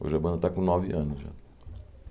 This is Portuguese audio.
Hoje a banda está com nove anos já.